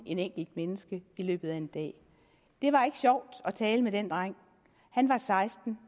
et enkelt menneske i løbet af en dag det var ikke sjovt at tale med den dreng han var seksten